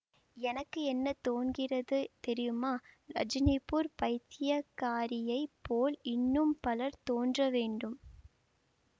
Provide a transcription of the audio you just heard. எனக்கு என்ன தோன்கிறது தெரியுமா ரஜினிபூர் பைத்தியக்காரியைப் போல் இன்னும் பலர் தோன்ற வேண்டும்